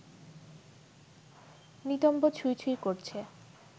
নিতম্ব ছুঁই ছুঁই করছে